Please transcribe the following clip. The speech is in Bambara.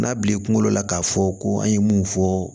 N'a bilen kuŋolo la k'a fɔ ko an ye mun fɔ